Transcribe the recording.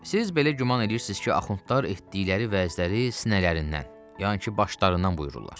Siz belə güman eləyirsiz ki, axundlar etdikləri vəzləri sinələrindən, yəni ki, başlarından buyururlar.